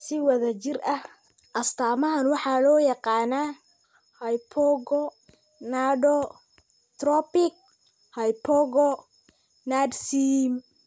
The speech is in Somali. Si wada jir ah, astaamahan waxaa loo yaqaan hypogonadotropic hypogonadism.